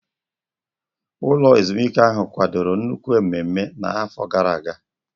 Ụlọ ezumike ahụ kwadoro nnukwu mmemme n'afọ gara aga.